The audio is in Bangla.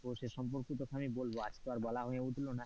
তো সে সম্পর্কেও আমি তোকে বলবো, আজ তো আর বলা হয়ে উঠল না,